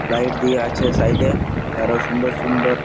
light দিয়া আছে side এ ।আরো সুন্দর সুন্দর --